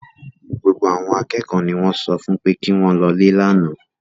Gbogbo àwọn akẹ́kọ̀ọ́ ni wọ́n sọ fún pé kí wọ́n lọlé lánàá